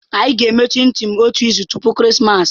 Anyị ga-eme chinchi otu izu tupu Christmas.